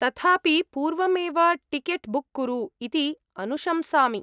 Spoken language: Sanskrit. तथापि पूर्वमेव टिकेट् बुक् कुरु इति अनुशंसामि।